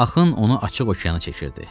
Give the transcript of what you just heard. Axın onu açıq okeana çəkirdi.